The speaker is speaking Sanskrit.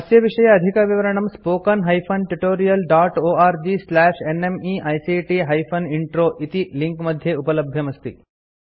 अस्य विषये अधिकविवरणं spoken hyphen tutorial dot org slash nmeict hyphen intro इति लिंक मध्ये उपलब्धमस्ति